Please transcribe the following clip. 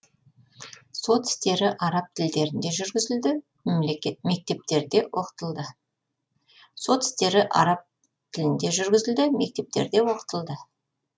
сот істері араб тілдерінде жүргізілді мектептерде оқытылды